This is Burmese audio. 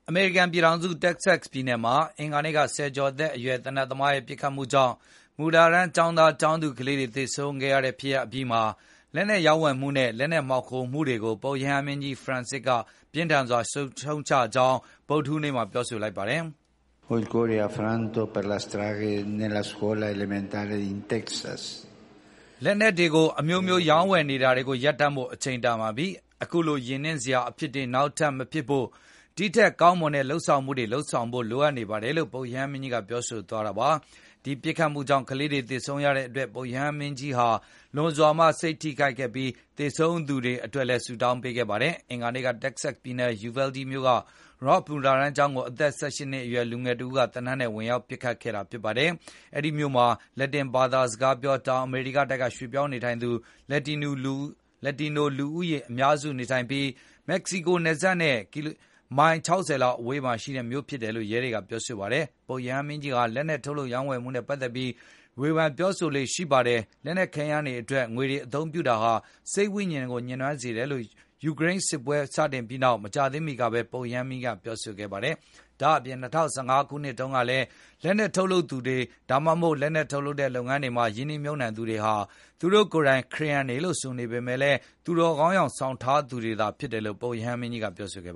အမေရိကန်ပြည်ထောင်စု တက္ကဆက်ပြည်နယ်မှာ အင်္ဂါနေ့က ဆယ်ကျော်သက်အရွယ် သေနတ်သမားရဲ့ ပစ်ခတ်မှုကြောင့် မူလတန်းကျောင်းသားကျောင်းသူကလေးတွေ သေဆုံးခဲ့ရတဲ့ဖြစ်ရပ်အပြီးမှာ လက်နှက်ရောင်းဝယ်မှုနဲ့ လက်နက် မှောင်ခိုမှုတွေကို ပုပ်ရဟန်းမင်းကြီး Francis က ပြင်းထန်စွာရှုံ့ ချကြောင်း ဗုဒ္ဓဟူးနေ့မှာ ပြောဆိုလိုက်ပါတယ်။ “လက်နက်တွေကို အမျိုးမျိုးရောင်းဝယ်နေတာတွေကို ရပ်တန့်ဖို့အချိန်တန်ပါပြီ။ အခုလိုရင်နင့်စရာ အဖြစ်တွေနောက်ထပ်မဖြစ်ဖို့ ဒီထက်ကောာင်းမွန်တဲ့လုပ်ဆောင်မှု တွေလုပ်ဖို့ လိုအပ်နေပါတယ်” လို့ ပုပ်ရဟန်းမင်းကြီးကပြောဆိုသွားတာပါ။ ဒီပစ်ခတ်မှုကြောင့် ကလေးတွေသေဆုံးရတဲ့အတွက် ပုပ်ရဟန်းမင်းကြီးဟာ လွန်စွာမှစိတ် ထိခိုက်ခဲ့ပြီး၊ သေဆုံးသူတွေအတွက်လည်း ဆု့တောင်းပေးခဲ့ပါတယ်။ အင်္ဂါနေ့က တက္ကဆက်ပြည်နယ်၊ Uvalde မြို့က Robb မူလတန်းကျောင်းကို အသက် ၁၈ နှစ်အရွယ် လူငယ်တဦးက သေနတ်နဲ့ ဝင်ရောက်ပစ်ခတ်ခဲ့တာပါ။ အဲဒီမြို့မှာ လက်လက်တင်ဘာစကားပြော တောင်အမေရိကတိုက်က ရွှေ့ပြောင်းနေထိုင်သူ လူဦးရေအများစုနေထိုင်ပြီး မက္ကဆီကိုနယ်စပ်နဲ့ ကီလိုမီတာ ၁၀၀ လောက်အဝေး မှာရှိတဲ့မြို့ဖြစ်တယ်လို့ ရဲတွေကပြောဆိုပါတယ်။ ပုပ်ရဟန်းမင်းကြီးဟာ လက်နှက်ထုတ်လုပ်ရောင်းဝယ်မှုနဲ့ ပတ်သက်ပြီး ဝေဘန်ပြောဆို လေ့ရှိပါတယ်။ လက်နက်ခဲယမ်းတွေအတွက် ငွေတွေအသုံးပြုတာဟာ စိတ်ဝိဉာဉ်ကို ညစ်နွမ်းစေတယ်လို့ ယူကရိန်းစစ်ပွဲစတင်ခဲ့ပြီးနောက်၊ မကြာသေးမီကဘဲ ပုရဟန်းမင်းကြီးက ပြောဆိုခဲ့ပါတယ်။ ဒါ့အပြင် ၂၀၁၅ ခုနှစ်တုန်းကလည်း လက်နက်ထုတ်လုပ်သူတွေ၊ ဒါမှမဟုတ် လက်နက်ထုတ်လုပ်တဲ့လုပ်ငန်းတွေမှ ာရင်းနှီးမြှုပ်နှံ့သူတွေဟာ သူတိုကိုယ်သူတို့ ခရစ်ယန်လို့ ဆိုပေနေပေမယ့်လည်း၊ သူတော်ကောင်းယောင်ဆောင် ထားသူတွေသာဖြစ်တယ်လို့ ပုပ်ရဟန်းမင်းကြီးကပြောဆိုခဲ့